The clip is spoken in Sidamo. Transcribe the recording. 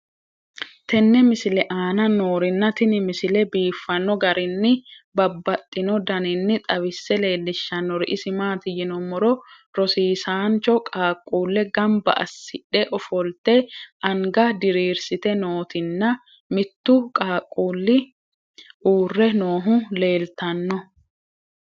tenne misile aana noorina tini misile biiffanno garinni babaxxinno daniinni xawisse leelishanori isi maati yinummoro rosiisancho qaaqqulle ganbba asidhdhe offolitte anga diriirisitte nootti nna mittu qaaqulli uure noohu leelittanno